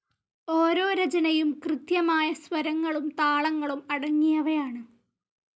ഓരോ രചനയും. കൃത്യമായ സ്വരങ്ങളും താളങ്ങളും അടങ്ങിയവയാണ്.